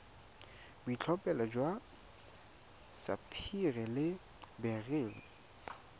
boitlhophelo jwa sapphire le beryl